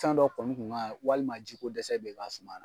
Fɛn dɔ kɔnɔ kun ka walima jiko dɛsɛ bi ka suman na